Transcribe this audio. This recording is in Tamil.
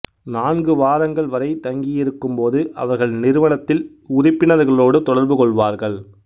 நான்கு வாரங்கள் வரை தங்கியிருக்கும் போது அவர்கள் நிறுவனத்தில் உறுப்பினர்களோடு தொடர்புகொள்வார்கள்